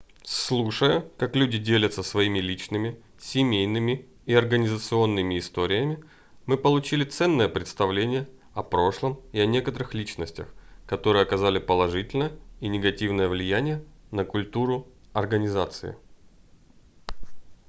слушая как люди делятся своими личными семейными и организационными историями мы получили ценное представление о прошлом и о некоторых личностях которые оказали положительное и негативное влияние на культуру организации